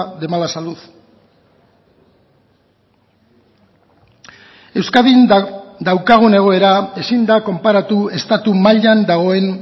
de mala salud euskadin daukagun egoera ezin da konparatu estatu mailan dagoen